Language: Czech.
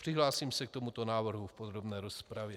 Přihlásím se k tomuto návrhu v podrobné rozpravě.